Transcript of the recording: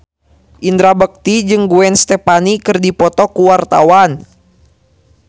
Indra Bekti jeung Gwen Stefani keur dipoto ku wartawan